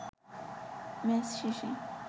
match শেষে